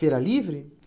Feira livre?